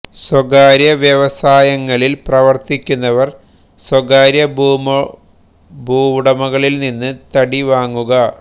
സ്വകാര്യ വ്യവസായങ്ങളിൽ പ്രവർത്തിക്കുന്നവർ സ്വകാര്യ ഭൂവുടമകളിൽ നിന്ന് തടി വാങ്ങുക